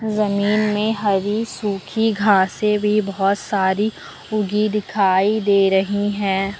जमीन में हरी सूखी घासें भी बहुत सारी उगी दिखाई दे रही है।